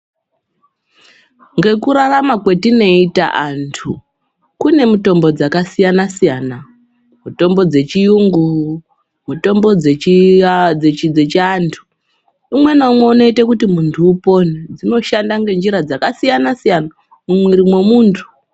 Ngekurarama kwetinoita antu kune mitombo dzakasiyana siyana mutombo dzechiyungu mutombo dzechiantu umwe neumwe unoita kuti muntu upone dzinoshanda ngenjira dzakasiyana siyana mumwiiri mwemuntu.